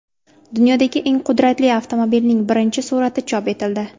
Dunyodagi eng qudratli avtomobilning birinchi surati chop etildi.